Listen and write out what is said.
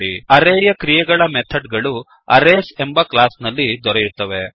httpwwwspoken tutorialಒರ್ಗ್ ಅರೇಯ ಕ್ರಿಯೆಗಳ ಮೆಥಡ್ ಗಳು ಅರೇಸ್ ಎಂಬ ಕ್ಲಾಸ್ ನಲ್ಲಿ ದೊರೆಯುತ್ತವೆ